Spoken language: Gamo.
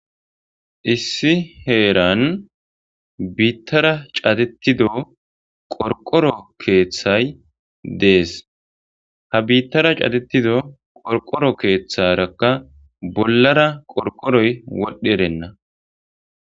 Issi heeran biitara cadetido qorqqoro keththay deesi. Ha biitara cadetida qorqqoro keetharakka bollara qorqqoroy wodhdherenna.